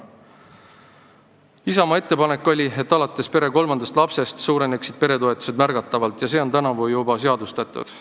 Isamaa ettepanek oli, et alates pere kolmandast lapsest suureneksid peretoetused märgatavalt, ja see on tänavu juba seadustatud.